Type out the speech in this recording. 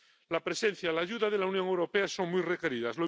La presencia, la ayuda de la Unión Europea son muy requeridas.